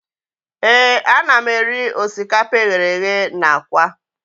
Ee, ana m eri osikapa eghere eghe na aka